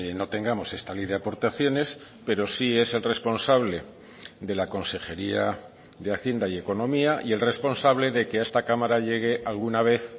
no tengamos esta ley de aportaciones pero sí es el responsable de la consejería de hacienda y economía y el responsable de que a esta cámara llegue alguna vez